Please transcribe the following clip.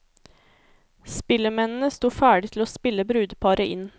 Spillemennene sto ferdig til å spille brudeparet inn.